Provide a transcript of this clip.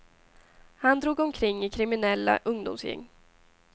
Han drog omkring i kriminella ungdomsgäng.